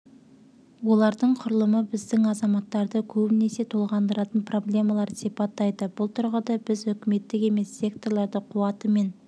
олардың құрылымы біздің азаматтарды көбінесе толғандыратын проблемаларды сипаттайды бұл тұрғыда біз үкіметтік емес секторларды қуаты мен